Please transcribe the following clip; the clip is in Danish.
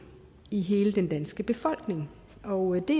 i hele den danske befolkning og det